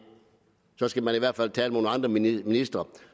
så skal man i hvert fald tale med nogle andre ministre